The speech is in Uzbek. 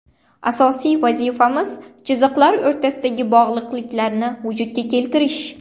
Asosiy vazifamiz chiziqlar o‘rtasidagi bog‘liqliklarni vujudga keltirish.